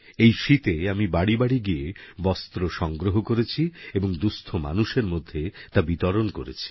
এই শীতে আমি বাড়ি বাড়ি গিয়ে বস্ত্র সংগ্রহ করেছি এবং দুস্থ মানুষের মধ্যে তা বিতরণ করেছি